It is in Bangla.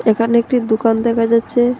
এখানে একটি দুকান দেখা যাচ্ছে।